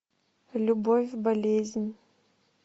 любовь болезнь